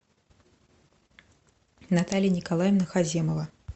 наталья николаевна хаземова